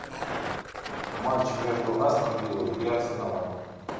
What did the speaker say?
матч между астон виллой и арсеналом